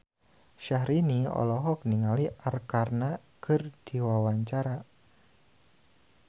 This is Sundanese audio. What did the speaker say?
Syahrini olohok ningali Arkarna keur diwawancara